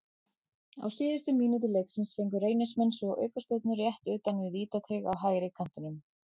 Á síðustu mínútu leiksins fengu Reynismenn svo aukaspyrnu rétt utan við vítateig á hægri kantinum.